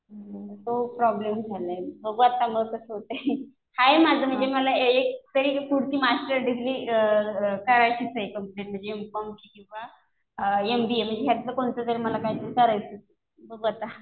तो प्रॉब्लेम झालाय. बघू आता मग कसं होतंय. आहे माझं म्हणजे मला एकतरी पुढची मास्टर डिग्री करायचीच आहे कम्प्लिट म्हणजे एम.कॉम किंवा एमबीए. म्हणजे ह्यातलं कोणतं तरी मला काहीतरी करायचंय. बघू आता.